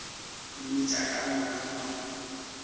mmitša ka lona ga ba